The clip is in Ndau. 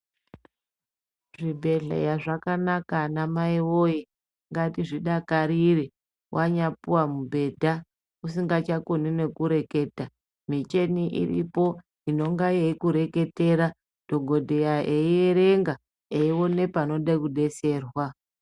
Zvibhedhleya zvakanaka anamai woye ngatizvidakarire wanyapuwa mubhedha usikachakoni nekureketa micheni iripo inonga yeikureketera dhokodheya eierenga eiwone panode kudeserwa.